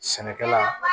Sɛnɛkɛla